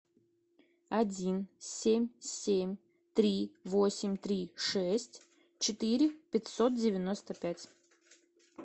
один семь семь три восемь три шесть четыре пятьсот девяносто пять